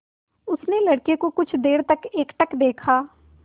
उसने लड़के को कुछ देर तक एकटक देखा